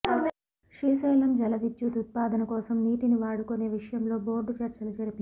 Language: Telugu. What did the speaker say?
శ్రీశైలం జలవిద్యుత్ ఉత్పాదన కోసం నీటిని వాడుకునే విషయంలో బోర్డు చర్చలు జరిపింది